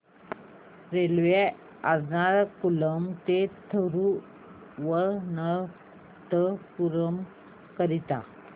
railway Ernakulam ते थिरुवनंतपुरम करीता